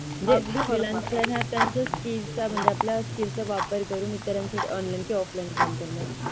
अगदी बरोबर त्याच्या Skill चा म्हणजे आपल्या Skill चा वापर करून इतरांचे Online offline काम करणे.